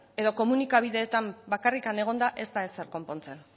edo komunikabideetan bakarrik egonda ez da ezer konpontzen